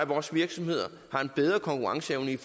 vores virksomheder har en bedre konkurrenceevne i